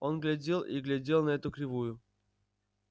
он глядел и глядел на эту кривую